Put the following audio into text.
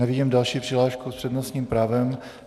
Nevidím další přihlášku s přednostním právem.